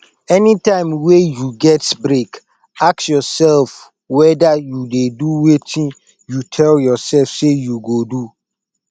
anytime wey you get break ask yourself whether you dey do wetin you tell yourself say you go do